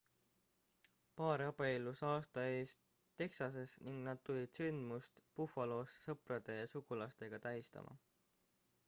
paar abiellus aasta eest texases ning nad tulid sündmust buffalosse sõprade ja sugulastega tähistama